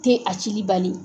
Ti a cili bali.